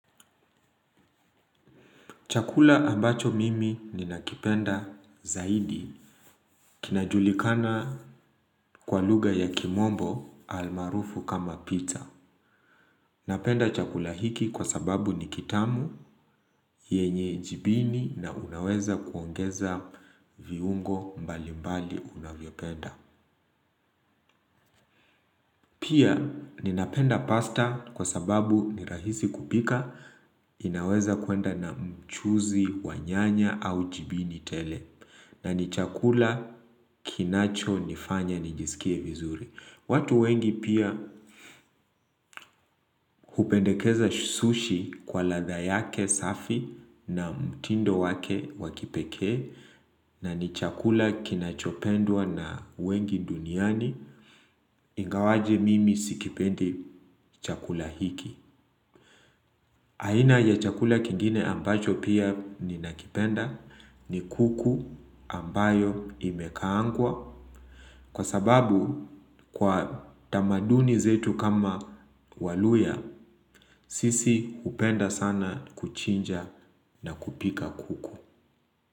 Chakula ambacho mimi ninakipenda zaidi kinajulikana kwa lugha ya kimombo almaarufu kama pizza. Napenda chakula hiki kwa sababu ni kitamu yenye jibini na unaweza kuongeza viungo mbali mbali unavyopenda. Pia ninapenda pasta kwa sababu ni rahisi kupika inaweza kwenda na mchuuzi wa nyanya au jibini tele na ni chakula kinachonifanya nijisikie vizuri watu wengi pia hupendekeza sushi kwa ladha yake safi na mtindo wake wa kipekee. Na ni chakula kinachopendwa na wengi duniani. Ingawaje mimi sikipendi chakula hiki aina ya chakula kingine ambacho pia ni nakipenda. Ni kuku ambayo imekaangwa. Kwa sababu kwa tamaduni zetu kama waluya, sisi hupenda sana kuchinja na kupika kuku.